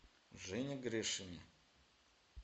жене гришине